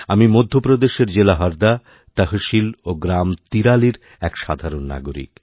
আমি মধ্যপ্রদেশের জেলাহরদা তহশীল ও গ্রাম তিরালির এক সাধারণ নাগরিক